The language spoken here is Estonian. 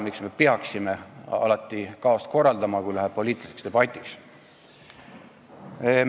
Miks me peame alati kaost korraldama, kui läheb poliitiliseks debatiks?